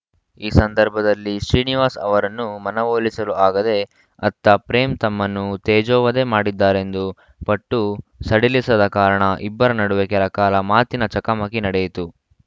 ಈ ಸಂದರ್ಭದಲ್ಲಿ ಶ್ರೀನಿವಾಸ್‌ ಅವರನ್ನು ಮನವೊಲಿಸಲು ಆಗದೆ ಅತ್ತ ಪ್ರೇಮ್‌ ತಮ್ಮನ್ನು ತೇಜೋವಧೆ ಮಾಡಿದ್ದಾರೆಂದು ಪಟ್ಟು ಸಡಿಲಿಸದ ಕಾರಣ ಇಬ್ಬರ ನಡುವೆ ಕೆಲ ಕಾಲ ಮಾತಿನ ಚಕಮಕಿ ನಡೆಯಿತು